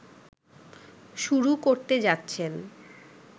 শুরু করতে যাচ্ছেন